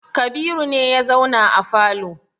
Kabiru ne ya zauna a falo.